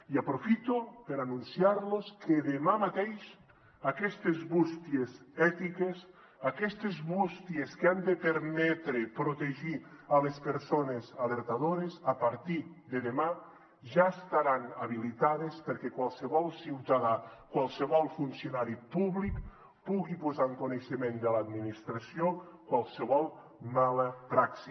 i aprofito per anunciarlos que demà mateix aquestes bústies ètiques aquestes bústies que han de permetre protegir les persones alertadores a partir de demà ja estaran habilitades perquè qualsevol ciutadà qualsevol funcionari públic pugui posar en coneixement de l’administració qualsevol mala praxi